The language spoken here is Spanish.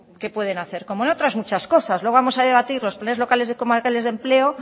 que pueden hacer como en otras muchas cosas luego vamos a debatir los planes locales comarcales de empleo